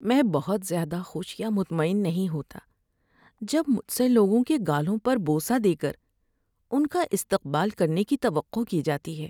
میں بہت زیادہ خوش یا مطمئن نہیں ہوتا جب مجھ سے لوگوں کے گالوں پر بوسہ دے کر ان کا استقبال کرنے کی توقع کی جاتی ہے۔